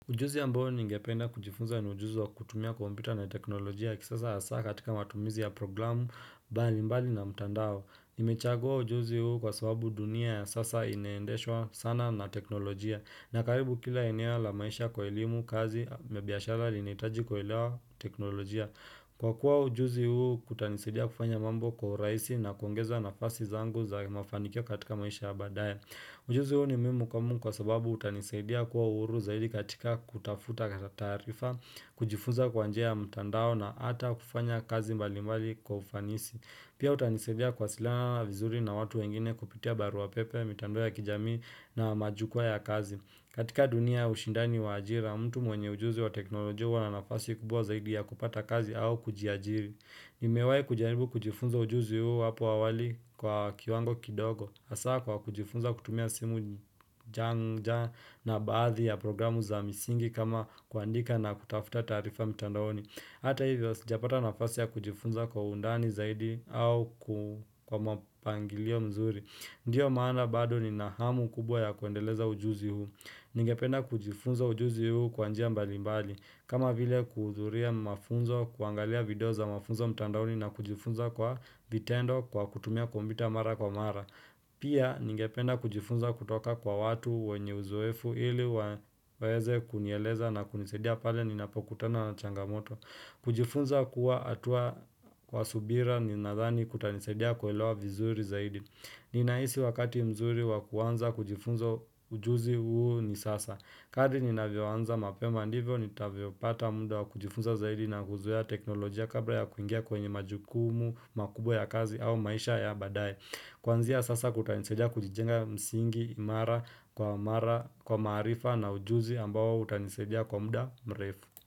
Ujuzi ambao ningependa kujifunza ni ujuzi wa kutumia kompyuta na teknolojia ya kisasa hasa katika matumizi ya programu bali mbali na mtandao. Nimechagua ujuzi huu kwa sababu dunia ya sasa inaendeshwa sana na teknolojia na karibu kila eneo la maisha kwa elimu, kazi mabiashara linaitaji kuelewa teknolojia Kwa kuwa ujuzi huu kutanisaidia kufanya mambo kwa urahisi na kuongeza nafasi zangu za mafanikio katika maisha ya baadaye Ujuzi huo ni muhimu kwamu kwa sababu utanisaidia kuwa uhuru zaidi katika kutafuta kata taarifa, kujifunza kwa njia ya mtandao na ata kufanya kazi mbalimbali kwa ufanisi. Pia utanisaidia kuwasiliana vizuri na watu wengine kupitia barua pepe, mitandao ya kijamii na majukuwaa ya kazi. Katika dunia ushindani wa ajira, mtu mwenye ujuzi wa teknolojia huwa na nafasi kubwa zaidi ya kupata kazi au kujiajiri. Nimewahi kujaribu kujifunza ujuzi huu hapo awali kwa kiwango kidogo hasa kwa kujifunza kutumia simu janja na baadhi ya programu za misingi kama kuandika na kutafuta taarifa mtandaoni. Hata hivyo sijapata nafasi ya kujifunza kwa undani zaidi au kwa mapangilio mzuri Ndiyo maana badi nina hamu kubwa ya kuendeleza ujuzi huu. Ningependa kujifunza ujuzi huu kwa njia mbali mbali kama vile kuhudhuria mafunzo kuangalia video za mafunzo mtandaoni na kujifunza kwa vitendo kwa kutumia kombyuta mara kwa mara Pia ningependa kujifunza kutoka kwa watu wenye uzoefu ili waeze kunieleza na kunisaidia pale ninapokutana na changamoto kujifunza kuwa atua kwa subira ninadhani kutanisaidia kuelewa vizuri zaidi Ninahisi wakati mzuri wa kuanza kujifunza ujuzi huu ni sasa Kadri ninavyoanza mapema ndivyo, nitavyopata muda wa kujifunza zaidi na kuzoea teknolojia kabla ya kuingia kwenye majukumu, makubwa ya kazi au maisha ya baadaye. Kuanzia sasa kutanisaidia kujijenga msingi, imara, kwa mara kwa maarifa na ujuzi ambao utanisaidia kwa mda mrefu.